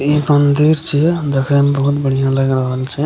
इ मंदिर छै देखय मे बहुत बढ़ियाँ लएग रहल छै।